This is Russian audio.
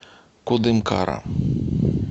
кудымкара